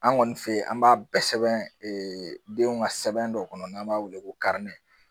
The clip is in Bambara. An kɔni fe yen an b'a bɛɛ sɛbɛn ee denw ka sɛbɛn dɔ kɔnɔ n'an b'a weele ko